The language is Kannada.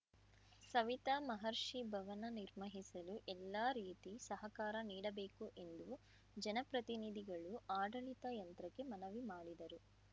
ಸವಿತಾ ಮಹರ್ಷಿ ಭವನ ನಿರ್ಮಹಿಸಲು ಎಲ್ಲಾ ರೀತಿ ಸಹಕಾರ ನೀಡಬೇಕು ಎಂದು ಜನ ಪ್ರತಿನಿಧಿಗಳು ಆಡಳಿತ ಯಂತ್ರಕ್ಕೆ ಮನವಿ ಮಾಡಿದರು